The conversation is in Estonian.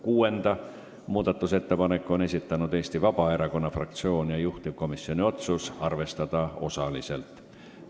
Kuuenda muudatusettepaneku on esitanud Eesti Vabaerakonna fraktsioon, juhtivkomisjoni otsus on arvestada osaliselt.